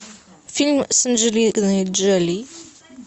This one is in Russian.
фильм с анджелиной джоли